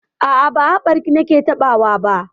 A'a, ba haɓarki nake taɓawa ba.